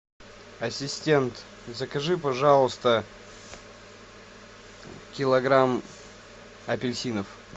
ассистент закажи пожалуйста килограмм апельсинов